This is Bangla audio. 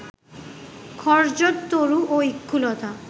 খর্জ্জর তরু ও ইক্ষুলতা